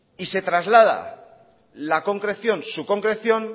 y se traslada la concreción su concreción